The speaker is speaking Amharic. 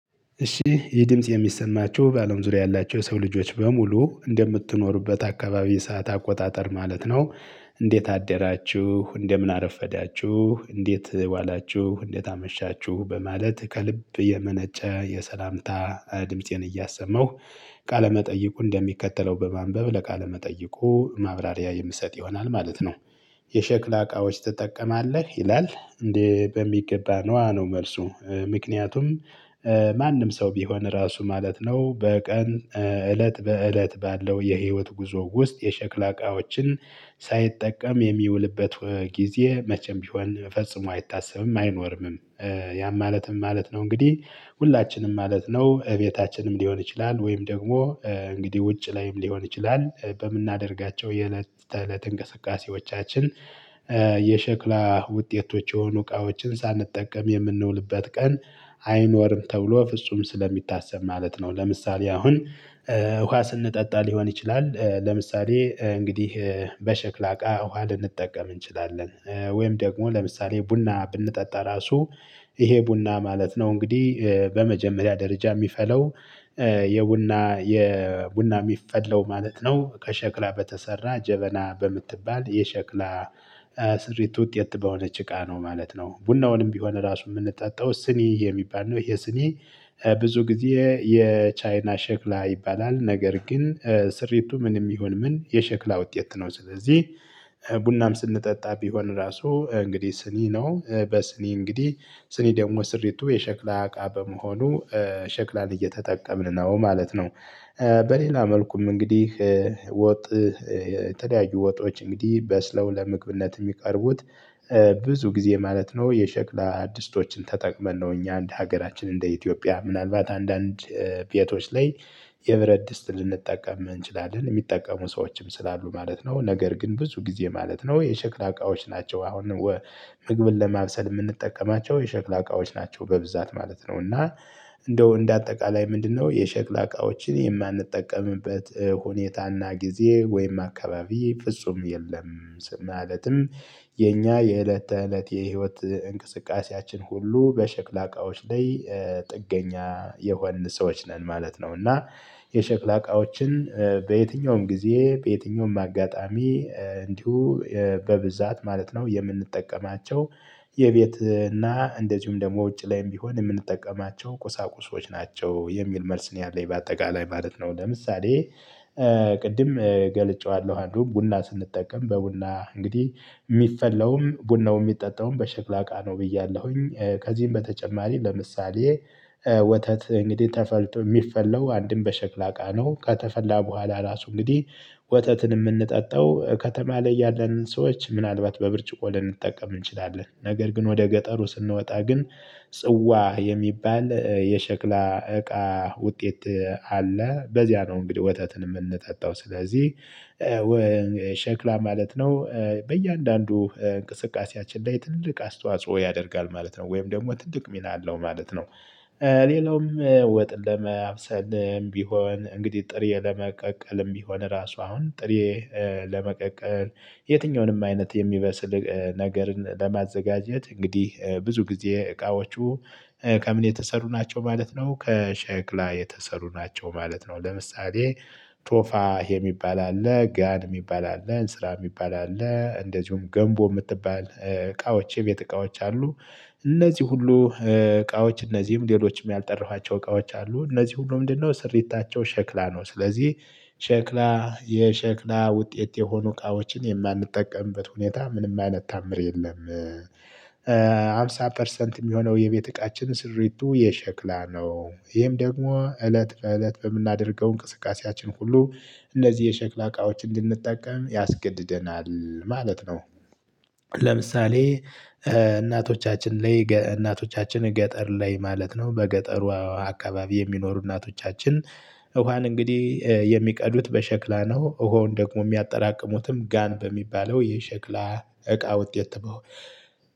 እሺ ይህ ድምጽ የሚሰማችሁ ባለም ዙሪያ ያላቸው የሰው ልጆች በሙሉ እንደምትኖሩበት አካባቢ ሰዓት አቆጣጠር ማለት ነው። እንዴት አደራችሁ እንደምን አረፈዳችሁ እንዴት ዋላችሁ እንዴት አመሻችሁ በማለት ከልብ የመነጨ የሰላምታ ድምፄን እያሰማሁ። ቃለመጠይቁ እንደሚከተለው በማንበብ ለቃለ መጠየቁ ማብራሪያ የምሰጥ ይሆናል ማለት ነው። የሸክላ እቃዎች ትጠቀማለህ ይላል እንዴ በሚገባ ነዎ ነው መልሱ ምክንያቱም? ማንም ሰው ቢሆን ራሱ ማለት ነው በቀን እለት በእለት ባለው የህይወት ጉዞ ውስጥ የሸክላ እቃዎችን ሳይጠቀም የሚውልበት ጊዜ መቼም ቢሆን ፈጽሞ አይታሰብም አይኖርምም። ያም ማለት ምን ማለት ነው? እንግዲህ ሁላችንም ማለት ነው እቤታችንም ሊሆን ይችላል ወይም ደግሞ እንግዲህ ውጭ ላይም ሊሆን ይችላል በምናደርጋቸው የእለት ተእለት እንቅስቃሴዎቻችን የሸክላ ውጤቶች የሆኑ እቃዎችን ሳንጠቀም የምንውልበት ቀን አይኖርም ተብሎ ፍጹም ስለሚታሰብ ማለት ነው። ለምሳሌ አሁን ውሃ ስንጠጣ ሊሆን ይችላል ለምሳሌ እንግዲህ በሸክላ አቃ ውሃ ልንጠቀም እንችላለን። ወይም ደግሞ ለምሳሌ ቡና ብንጠጣ ራሱ ይሄ ቡና ማለት ነው። እንግዲህ በመጀመሪያ ደረጃ የሚፈለው የቡና የቡና የሚፈለው ማለት ነው ከሸክላ በተሰራ ጀበና በምትባል የሸክላ ስሪት ውጤት በሆነች እቃ ነው ማለት ነው። ቡናውንም ቢሆን ራሱ የምንጠጣው ስኒ የሚባል ነው ይሄ ስኒ። ብዙ ጊዜ የቻይና ሸክላ ይባላል ነገር ግን ስሪቱ ምንም ይሁን ምን የሸክላ ውጤት ነው። ስለዚህ ቡናም ስንጠጣ ቢሆን ራሱ እንግዲህ ስኒ ነው በስኒ እንግዲህ ስኒ ደግሞ ስሪቱ የሸክላ አቃ በመሆኑ ሸክላን እየተጠቀምን ነው ማለት ነው። በሌላ መልኩም እንግዲህ ወጥ የተለየዩ ወጦች እንግዲህ በስለው ለመግብነት የሚቀርቡት ጊዜ ማለት ነው። የሸክላ ዲስቶችን ተጠቅመን ነው እኛ አንድ ሀገራችን እንደ ኢትዮጵያ ምናልባት አንዳንድ ቤቶች ላይ የብረት ድስት ልንጠቀም እንችላለን የሚጠቀሙ ሰዎችም ስላሉ ማለት ነው። ነገር ግን ብዙ ጊዜ ማለት ነው የሸክላ እቃዎች ናቸው አሁን ምግብን ለማብሰል የምንጠቀማቸው የሸክላ እቃዎች ናቸው በብዛት ማለት ነው። እና እንደው እንደ አጠቃላይ ምንድነው የሸክላ እቃዎችን የማንጠቀምበት ሁኔታና ጊዜ ወይም አካባቢ ፍጹም የለም። ማለትም የኛ የእለት ተእለት የህይወት እንቅስቃሴያችን ሁሉ በሸክላ እቃዎች ላይ ጥገኛ የሆንን ሰዎች ነን ማለት ነው። እና የሸክላ እቃዎችን በየትኛውም ጊዜ በየትኛውም አጋጣሚ እንዲሁ በብዛት ማለት ነው። የምንጠቀማቸው የቤት እና እንደዚሁም ደግሞ ውጭ ላይም ቢሆን የምንጠቀማቸው ቁሳቁሶች ናቸው የሚል መልስ ነው። ያለኝ በአጠቃላይ ማለት ነው ለምሳሌ ቅድም ገልጨዋለሁ አንዱ ቡና ስንጠቀም በቡና እንግዲህ የሚፈላውም ቡናውም የሚጠጣውም በሸክላ እቃ ነው። ብያለሁኝ ከዚህም በተጨማሪ ለምሳሌ ወተት እንግዲህ ተፈልቶ የሚፈላው አንድም በሸክላ አቃ ነው። ከተፈላ በኋላ ራሱ እንግዲህ ወተትን የምንጠጣው ከተማ ላይ ያለንን ሰዎች ምናልባት በብርጭቆ ልንጠቀም እንችላለን ነገር ግን ወደ ገጠሩ ስንወጣ ግን ጽዋ የሚባል የሸክላ እቃ ውጤት አለ በዚያ ነው። እንግዲህ ወተትን የምንጠጣው ስለዚህ ሸክላ ማለት ነው በእያንዳንዱ እንቅስቃሴያችን ላይ ትልቅ አስተዋጽኦ ያደርጋል ማለት ነው ወይም ደግሞ ትልቅ ሚና አለው ማለት ነው። ሌላውም ወጥ ለማብሰልም ቢሆን እንግዲህ ጥሬ ለመቀቀልም ቢሆን ራሱ አሁን ጥሬ ለመቀቀል የትኛውንም አይነት የሚበስል ነገርን ለማዘጋጀት እንግዲህ ብዙ ጊዜ እቃዎቹ ከምን የተሰሩ ናቸው ማለት ነው ከሸክላ የተሰሩ ናቸው ማለት ነው። ለምሳሌ ቶፋ የሚባል አለ ጋን የሚባል አለ እንስራ የሚባል አለ እንደዚሁም ገንቦ የምትባል እቃዎች የቤት እቃዎች አሉ። እነዚህ ሁሉ እቃዎች እነዚህም ሌሎችም ያልጠራኋቸው እቃዎች አሉ እነዚህ ሁሉ ምንድነው? ስሪታቸው ሸክላ ነው። ስለዚህ ሸክላ የሸክላ ውጤት የሆኑ እቃዎችን የማንጠቀምበት ሁኔታ ምንም አይነት ታምር የለም። አምሳ ፐርሰንት የሚሆነው የቤት እቃችን ስሪቱ የሸክላ ነው ይህም ደግሞ እለት በእለት በምናደርገው እንቅስቃሴያችን ሁሉ እነዚህ የሸክላ እቃዎች እንድንጠቀም ያስገድደናል ማለት ነው። ለምሳሌ እናቶቻችን ላይ እናቶቻችን ገጠር ላይ ማለት ነው በገጠሩ አካባቢ የሚኖሩ እናቶቻችን ውሃን እንግዲህ የሚቀዱት በሸክላ ነው። ውሃውን ደግሞ የሚያጠራቅሙትም ጋን በሚባለው የሸክላ እቃ ውጤት ተበው